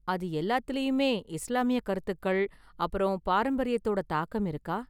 அது எல்லாத்துலயுமே இஸ்லாமிய கருத்துக்கள் அப்பறம் பாரம்பரியத்தோட தாக்கம் இருக்கா?